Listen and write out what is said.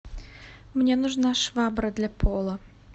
мне нужна швабра для пола